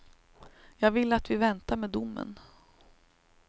Jag vill att vi väntar med domen.